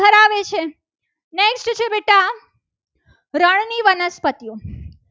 વનસ્પતિઓ